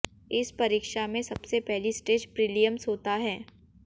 इस परीक्षा में सबसे पहली स्टेज प्रीलिम्स होता है